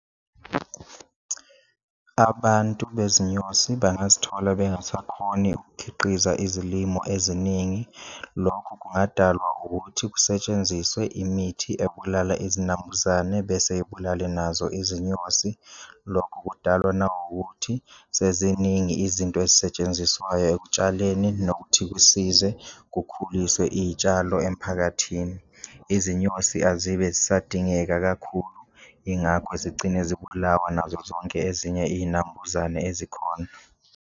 Abantu bezinyosi bangazithola bengasakhoni ukukhiqiza izilimo eziningi, lokho kungadalwa ukuthi kusetshenziswe imithi ebulala izinambuzane bese ibulale nazo izinyosi, lokho kudalwa nawukuthi seziningi izinto ezisetshenziswayo ekutshaleni nokuthi kusize kukhuliswe iyitshalo emphakathini. Izinyosi azibe zisadingeka kakhulu, ingakho zigcine zibulawa nazo zonke ezinye iyinambuzane ezikhona.